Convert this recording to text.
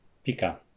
Pika.